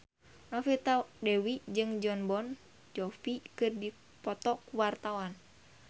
Novita Dewi jeung Jon Bon Jovi keur dipoto ku wartawan